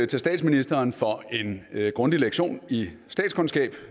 til statsministeren for en grundig lektion i statskundskab